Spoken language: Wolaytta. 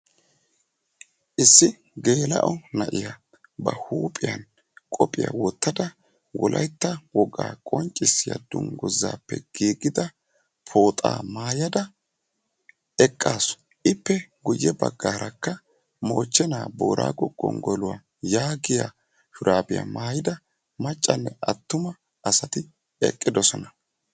Issi geella"o na'iyaa ba huuphiyan qophiyaa wottada wolaytta dungguzappe giigida pooxa maayyada eqqasu. Ippe guyye baggaarakka mochchena boorsggo gonggoluwa yaagoya shurabiya maayyida maccanne attuma naati eqqidoosona.